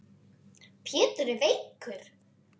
Pétur er veikur.